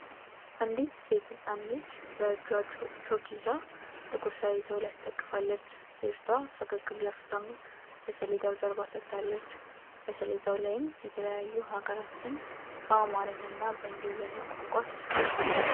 አንዲት ሴት ህጻን ልጅ በእጇ ቾክ ይዛ ጥቁር ሰሌዳው ላይ አስደግፋለች። ልጅቷ ፈገግ ብላ ፊቷን ለሰሌዳው ጀርባ ሰጥታለች። በሰሌዳው ላይም የተለያዩ ሃገራት ስም በአማረኛ እና በእንግሊዘኛ ቋንቋ ሰፍሯል።